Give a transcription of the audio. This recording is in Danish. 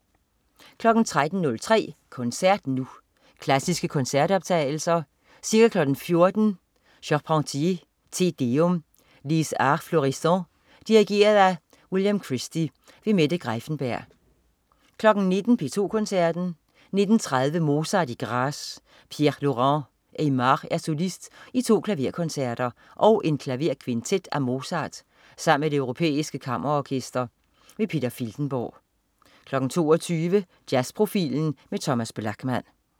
13.03 Koncert Nu. Klassiske koncertoptagelser. Ca. 14.00 Charpentier: Te deum. Les Arts Florissants. Dirigent: William Christie. Mette Greiffenberg 19.00 P2 Koncerten. 19.30 Mozart i Graz. Pierre-Laurant Aimard er solist i to klaverkoncerter og en klaverkvintet af Mozart sammen med Det europæiske Kammerorkester. Peter Filtenborg 22.00 Jazzprofilen med Thomas Blachman